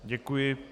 Děkuji.